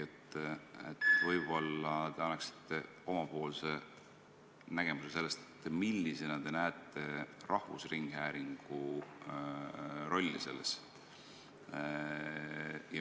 Võib-olla te annate oma nägemuse, millisena te näete rahvusringhäälingu rolli selles.